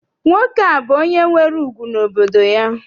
Nwoke a bụ onye nwere ùgwù n'obodo ya.